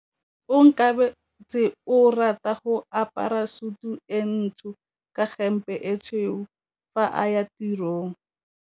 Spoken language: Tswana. Onkabetse o rata go apara sutu e ntsho ka hempe e tshweu fa a ya tirong.